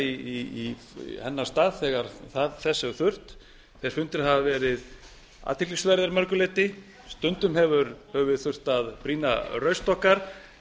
í hennar stað þegar þess hefur þurft þeir fundir hafa verið athyglisverðir að mörgu leyti stundum höfum við þurft að brýna raust okkar